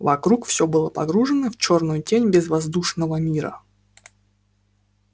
вокруг все было погружено в чёрную тень безвоздушного мира